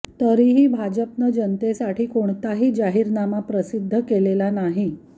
तरीही भाजपनं जनतेसाठी कोणताही जाहीरनामा प्रसिद्ध केलेला नाही